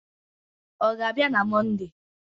Ọ ga-abịa na Mọnde?